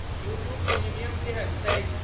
U tube premium केहन छैक?